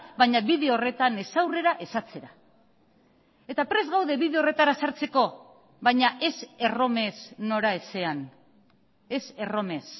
baina bide horretan ez aurrera ez atzera eta prest gaude bide horretara sartzeko baina ez erromes noraezean ez erromes